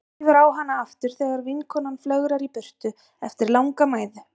Svífur á hana aftur þegar vinkonan flögrar í burtu eftir langa mæðu.